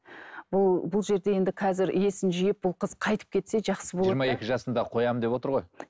бұл бұл жерде енді қазір есін жиып бұл қыз қайтып кетсе жақсы болады жиырма екі жасында қоямын деп отыр ғой